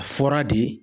A fɔra de